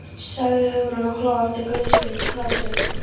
sagði Hugrún og hló aftur gleðisnauðum hlátri.